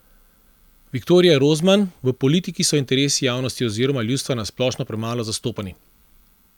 Viktorija Rozman: "V politiki so interesi javnosti oziroma ljudstva na splošno premalo zastopani.